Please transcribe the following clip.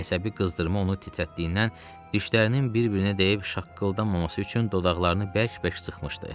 Əsəbi qızdırma onu titrətdiyindən dişlərinin bir-birinə dəyib şaqqıldamaması üçün dodaqlarını bərk-bərk sıxmışdı.